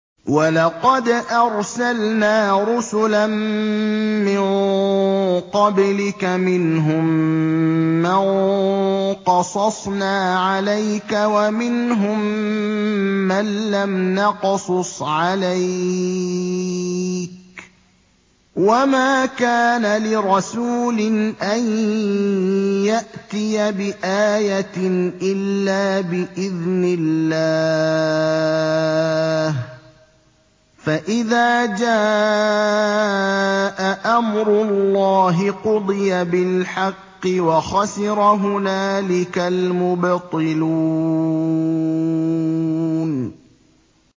وَلَقَدْ أَرْسَلْنَا رُسُلًا مِّن قَبْلِكَ مِنْهُم مَّن قَصَصْنَا عَلَيْكَ وَمِنْهُم مَّن لَّمْ نَقْصُصْ عَلَيْكَ ۗ وَمَا كَانَ لِرَسُولٍ أَن يَأْتِيَ بِآيَةٍ إِلَّا بِإِذْنِ اللَّهِ ۚ فَإِذَا جَاءَ أَمْرُ اللَّهِ قُضِيَ بِالْحَقِّ وَخَسِرَ هُنَالِكَ الْمُبْطِلُونَ